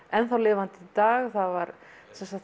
enn þá lifandi í dag það var